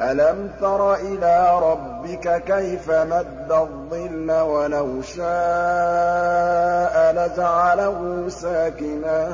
أَلَمْ تَرَ إِلَىٰ رَبِّكَ كَيْفَ مَدَّ الظِّلَّ وَلَوْ شَاءَ لَجَعَلَهُ سَاكِنًا